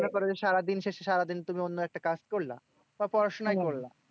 মনে করে যে সারাদিন সে সারাদিন তুমি অন্য একটা কাজ করলা বা পড়াশোনাই করলা।